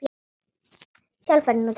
Sjálf fer hún til pabba.